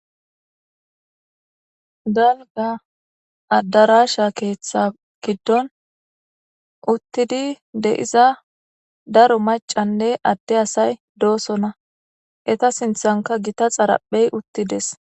Danga addarasha keeththa giddon uttidi deiza daro macanne atte asay doosonna eta sinthanka gita xaraphey uttides.